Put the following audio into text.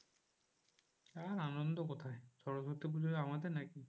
আর আনন্দ কোথায়? সরস্বতী পুজো আমাদের নাকি?